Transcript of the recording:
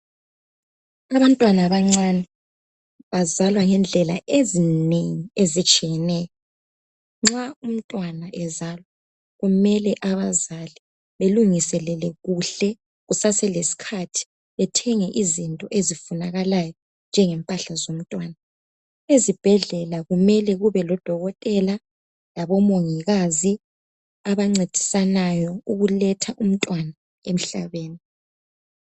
Abantwana abancane bazalwa ngendlela ezinengi ezitshiyeneyo. Nxa umntwana ezalwa, kumele abazali belungiselele kuhle kusase lesikhathi, bethenge izinto ezifunakalayo njengempahla zomntwana. Ezibhedlela kumele kube lodokotela labomongikazi abancedisanayo ukuletha umntwana emhlabeni